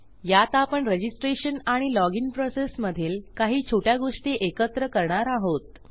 यात आपण रजिस्ट्रेशन आणि लॉजिन प्रोसेस मधील काही छोट्या गोष्टी एकत्र करणार आहोत